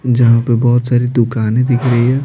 जहाँ पर बहुत सारी दुकानें दिख रही है।